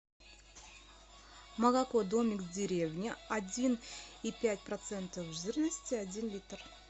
молоко домик в деревне один и пять процентов жирности один литр